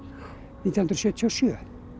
nítján hundruð sjötíu og sjö